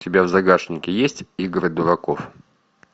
у тебя в загашнике есть игры дураков